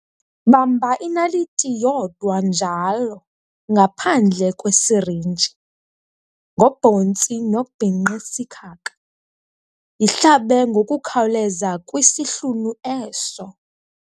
Bamba inaliti yodwa njalo, ngaphandle kwesirinji, ngobhontsi nobhinqisikhaka, yihlabe ngokuqkhawuleza kwisihlunu eso.